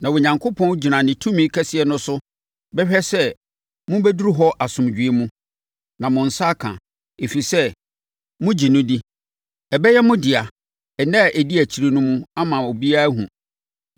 Na Onyankopɔn gyina ne tumi kɛseɛ no so bɛhwɛ sɛ mobɛduru hɔ asomdwoeɛ mu, na mo nsa aka, ɛfiri sɛ, mogye no di. Ɛbɛyɛ mo dea nna a ɛdi akyire no mu ama obiara ahunu.